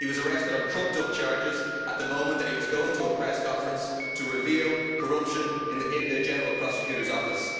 He was arrested on trumped up charges at the moment that he was going to a press conference to reveal corruption in the general prosecutor's office.